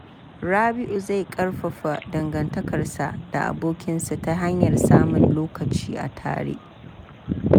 Rabi’u zai ƙarfafa dangantakarsa da abokinsa ta hanyar samun lokaci a tare.